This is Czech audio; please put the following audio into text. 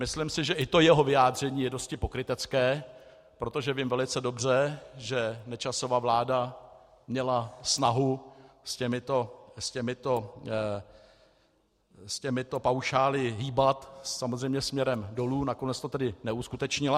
Myslím si, že i to jeho vyjádření je dosti pokrytecké, protože vím velice dobře, že Nečasova vláda měla snahu s těmito paušály hýbat, samozřejmě směrem dolů, nakonec to tedy neuskutečnila.